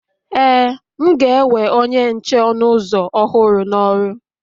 Ee, m ga-ewe onye nche ọnụ ụzọ ọhụrụ n'ọrụ